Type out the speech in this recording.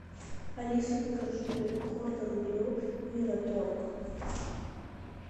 алиса закажи гордон блю мираторг